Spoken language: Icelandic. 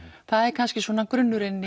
það er kannski svona grunnurinn